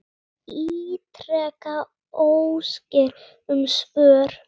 Ég ítreka óskir um svör.